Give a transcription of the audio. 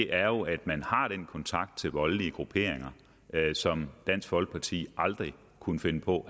er jo at man har den kontakt til voldelige grupperinger som dansk folkeparti aldrig kunne finde på